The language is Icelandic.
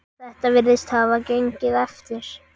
Þetta virðist hafa gengið eftir.